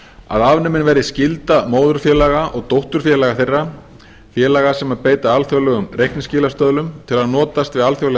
að afnumin verði skylda móðurfélaga og dótturfélaga þeirra félaga sem beita alþjóðlegum reikningsskilastöðlum til að notast við alþjóðlega